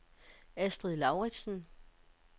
Astrid Lauritsen